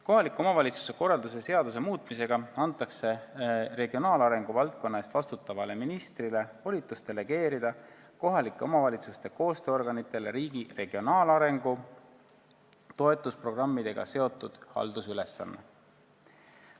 Kohaliku omavalitsuse korralduse seaduse muutmisega antakse regionaalarengu valdkonna eest vastutavale ministrile volitus delegeerida kohalike omavalitsuste koostööorganitele riigi regionaalarengu toetusprogrammidega seotud haldusülesandeid.